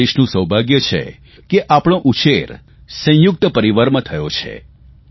આપણા દેશનું સૌભાગ્ય એ છે કે આપણો ઉછેર સંયુક્ત પરિવારમાં થયો છે